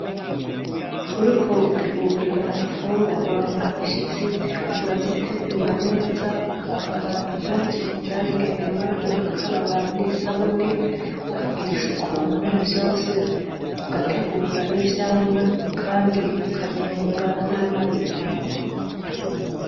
Uriko utegurira infungurwa abashitsi, urazitegurira neza ukambara impuzu zabigenewe ugakaraba n'isabuni ukagira isuku muri vyose ugategura n'ivyamwa kandi ukabironga n'amazi meza.